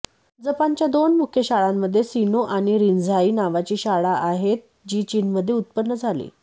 जपानच्या दोन मुख्य शाळांमध्ये सिनो आणि रिन्झाई नावाची शाळा आहेत जी चीनमध्ये उत्पन्न झाली